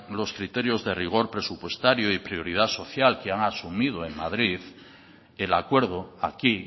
los criterios de rigor presupuestario y prioridad social que han asumido en madrid el acuerdo aquí